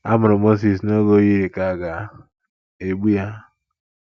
Amụrụ Mozis n’oge o yiri ka à ga - egbu ya.